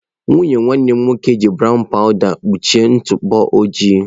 Nwunye nwanne m nwoke ji brown powụda ya kpuchie m ntụpọ ojii.